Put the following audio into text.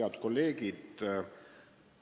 Head kolleegid!